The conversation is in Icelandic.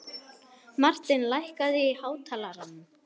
Martin, lækkaðu í hátalaranum.